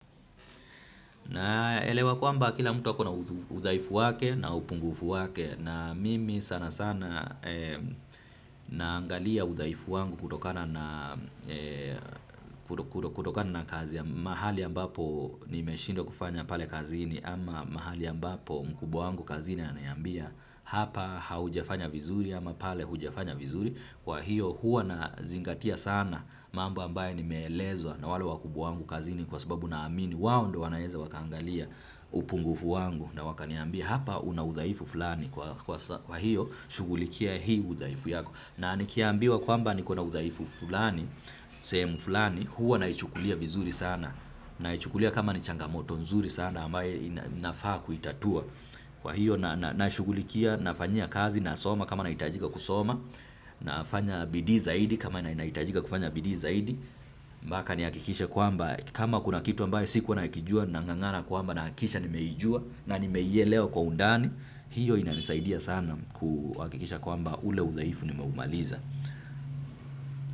Naelewa kwamba kila mtu ako na udhaifu wake na upungufu wake na mimi sana sana naangalia udaifu wangu kutokana na kazi ya mahali ambapo nimeshindopwa kufanya pale kazini ama mahali ambapo mkubwa wangu kazini ananiambia hapa haujafanya vizuri ama pale hujafanya vizuri. Kwahiyo huwa na zingatia sana mambo ambayo ni nmeelezwa na wale wakubwa wangu kazini kwa sababu naamini wao ndo wanaweza wakaangalia upungufu wangu na wakaniambia hapa una udhaifu fulani kwa lhiyo shughulikia hii udhaifu yako na nikiaambiwa kwamba niko na udhaifu fulani sehemu fulani huwa naichukulia vizuri sana naichukulia kama ni changamoto nzuri sana ambayo nafaa kuitatua. Kwa hiyo na nashugulikia nafanyia kazi nasoma kama nahitajika kusoma nafanya bidii zaidi kama na inaitajika kufanya bidii zaidi mpaka nihakikishe kwamba kama kuna kitu ambayo sikuwa nakijua nang'ang'ana kwamba nahakikisha nimeijua na nimeielewa kwa undani. Hiyo inanisaidia sana kuhakikisha kwamba ule udhaifu nimeumaliza.